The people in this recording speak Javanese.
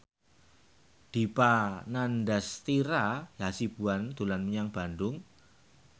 Dipa Nandastyra Hasibuan dolan menyang Bandung